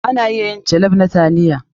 Ana iya yin jollof na taliya.